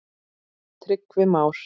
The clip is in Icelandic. Tryggvi Már.